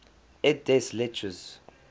et des lettres